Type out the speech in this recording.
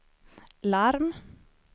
larm